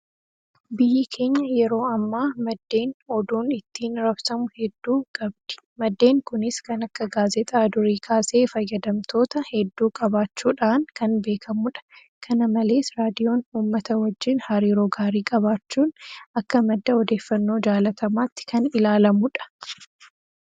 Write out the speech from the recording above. Biyyi keenya yeroo ammaa maddeen oduun ittiin raabsamu heddui qabdi. Maddeen kunis kan akka gaazexaa durii kaasee fayyadamtoota hedduu qabaachuudhaan kan beekamudha. Kana malees Raadiyoon uummata wajjin hariiroo gaarii qabaachuun akka madda odeeffannoo jaalatamaatti kan ilaalamudha.